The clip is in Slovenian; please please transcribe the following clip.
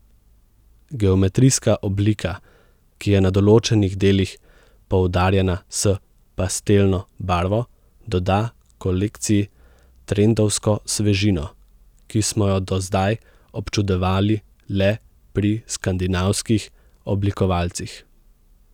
Geometrijska oblika, ki je na določenih delih poudarjena s pastelno barvo, doda kolekciji trendovsko svežino, ki smo jo do zdaj občudovali le pri skandinavskih oblikovalcih.